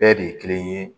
Bɛɛ de ye kelen ye